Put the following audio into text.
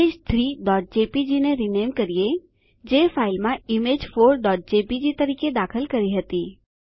image 3જેપીજી ને rename કરીએ જે ફાઈલમાં image4જેપીજી તરીકે દાખલ કરી હતી